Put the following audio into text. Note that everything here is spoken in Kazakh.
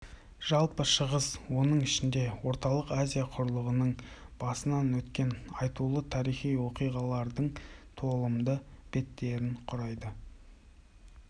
жалпы шығыс оның ішінде орталық азия құрлығының басынан өткен айтулы тарихи оқиғалардың толымды беттерін құрайды